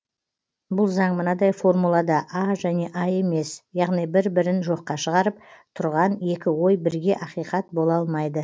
бұл заң мынадай формулада а және а емес яғни бір бірін жоққа шығарып тұрған екі ой бірге ақиқат бола алмайды